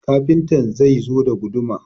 Kafintar zai zo da guduma